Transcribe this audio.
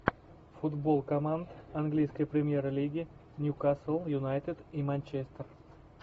футбол команд английской премьер лиги ньюкасл юнайтед и манчестер